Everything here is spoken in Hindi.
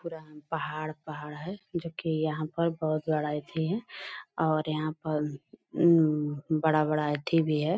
पुराना पहाड़ पहाड़ है जो कि यहाँ पर बहुत बडा अथि है और यहाँ पर अम बड़ा-बड़ा अथि भी है ।